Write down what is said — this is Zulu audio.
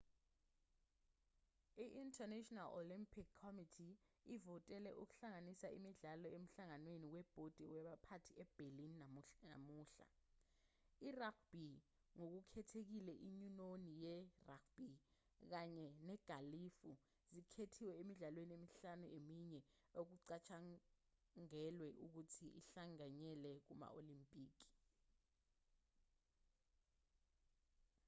i-international olympic committee ivotele ukuhlanganisa imidlalo emhlanganweni webhodi yabaphathi eberlin namuhla i-rugby ngokukhethekhile inyunyoni ye-rugby kanye negalufu zikhethiwe emidlalweni emihlanu eminye ukucatshangalwe ukuthi ihlanganyele kuma-olimpiki